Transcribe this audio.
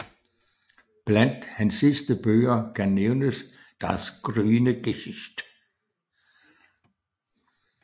Bland hans sidste bøger kan nævnes Das grüne Gesicht